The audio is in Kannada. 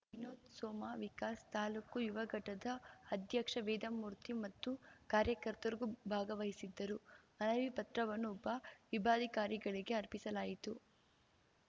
ವಿನೋದ್‌ ಸೋಮ ವಿಕಾಸ್‌ ತಾಲೂಕು ಯುವ ಘಟದ ಅಧ್ಯಕ್ಷ ವೇದಮೂರ್ತಿ ಮತ್ತು ಕಾರ್ಯಕರ್ತರು ಭಾಗವಹಿಸಿದ್ದರು ಮನವಿ ಪತ್ರವನ್ನು ಉಪ ವಿಭಾಧಿಕಾರಿಗಳಿಗೆ ಅರ್ಪಿಸಲಾಯಿತು